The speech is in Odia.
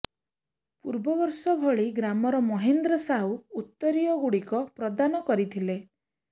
ପୂର୍ବବର୍ଷ ଭଳି ଗ୍ରାମର ମହେନ୍ଦ୍ର ସାହୁ ଉତରୀୟ ଗୁଡିକ ପ୍ରଦାନ କରିଥିଲେ